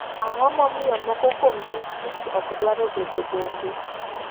Ang'o momiyo moko kuom distrikts ok dwaro bendo bombe.